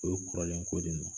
O ye kɔrɔlen ko de non.